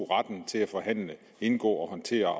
retten til at forhandle indgå og håndtere